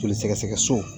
Joli sɛgɛsɛgɛ so